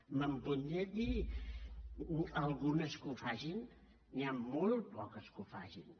me’n podria dir algunes que ho facin n’hi han molt poques que ho facin